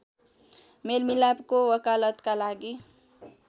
मेलमिलापको वकालतका लागि